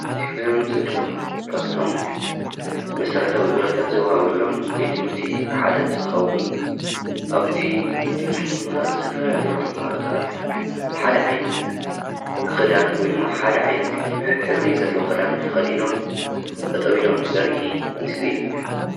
እዚ ምስሊ ድማ ካብቶም መሰረታዊ ግልጋሎታት ዝውሃበሎም ቤት ትምህርት ሓደ ክ ንትትኸውን ኣብዚ ቤት ትምህርቲ ድማ ዝተፈላለዩ ተማሃሮታት ሓደ ዓይነት ኽዳን ወይ ድማ ሓደ ዓይንት ሕብሪ ዘሎዎም ኽዳን ተኸዲኖም ጠጠው ኢሎም ዘርኢ ምስሊ እዩ ።